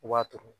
U b'a turu